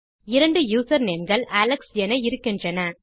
இரண்டு யூசர்நேம் கள் அலெக்ஸ் என இருக்கின்றன